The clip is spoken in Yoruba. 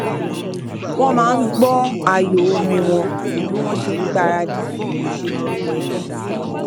wọn máa n gbọ ààyo orin wọn bí wọn ṣe n gbaradì fún ìpéjọpọ ẹbí